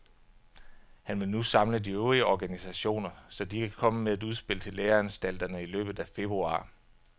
Han vil nu samle de øvrige organisationer, så de kan komme med et udspil til læreanstalterne i løbet af februar.